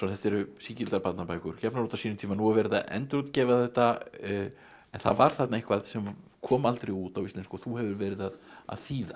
þetta eru sígildar barnabækur gefnar út á sínum tíma nú er verið að endurútgefa þetta en það var þarna eitthvað sem kom aldrei út á íslensku og þú hefur verið að þýða